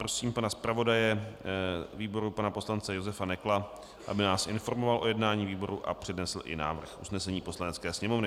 Prosím pana zpravodaje výboru pana poslance Josefa Nekla, aby nás informoval o jednání výboru a přednesl i návrh usnesení Poslanecké sněmovny.